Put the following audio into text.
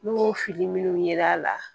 N'o fili minnu ye l'a la